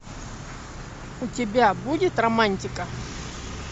у тебя будет романтика